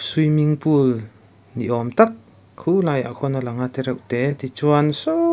swimming pool ni awm tak khu laiah khuan a lang a tereuhte tichuan saw--